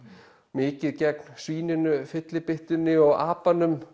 mikið gegn svíninu fyllibyttunni og